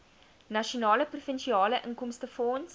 nasionale provinsiale inkomstefonds